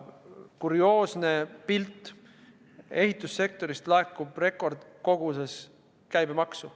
Kurioosne pilt – ehitussektorist laekub rekordkoguses käibemaksu.